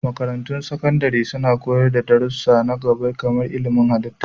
Makarantun Sakandare suna koyar da darussa na gaba kamar ilmin halitta.